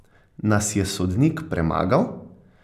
Nas je sodnik premagal?